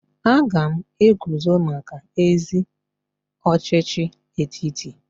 Ị ga-eguzo maka ezi ọchịchị etiti?